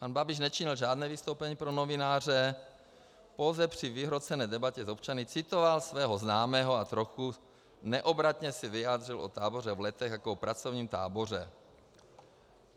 Pan Babiš nečinil žádné vystoupení pro novináře, pouze při vyhrocené debatě s občany citoval svého známého a trochu neobratně se vyjádřil o táboře v Letech jako o pracovním táboře.